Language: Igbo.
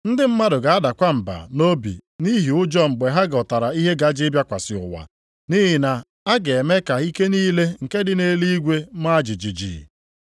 Ndị mmadụ ga-adakwa mba nʼobi nʼihi ụjọ mgbe ha ghọtara ihe gaje ịbịakwasị ụwa, nʼihi na a ga-eme ka ike niile nke dị nʼeluigwe maa jijiji.